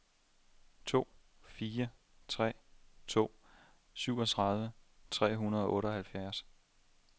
to fire tre to syvogtredive tre hundrede og otteoghalvtreds